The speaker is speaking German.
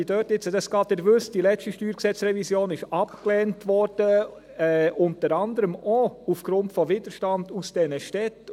Wie Sie wissen, wurde die letzte StG-Revision abgelehnt, unter anderem auch aufgrund des Widerstands aus diesen Städten.